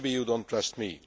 Maybe you do not trust